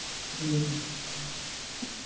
ਹੂਂ